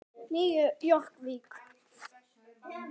Nýju Jórvík.